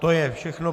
To je všechno.